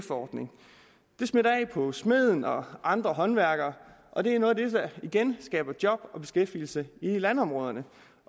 ordning det smitter af på smeden og andre håndværkere og det er noget af det der igen skaber job og beskæftigelse i landområderne